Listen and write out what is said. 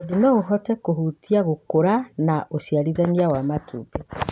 tondũ no ũhote kũhutia gũkũra na ũciarithania wa matumbĩ.